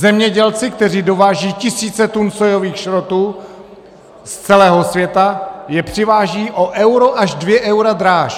Zemědělci, kteří dovážejí tisíce tun sójových šrotů z celého světa, je přivážejí o euro až dvě eura dráž.